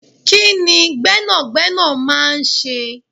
Kini Gbẹ́nàgbẹ́nà máa ń ṣe?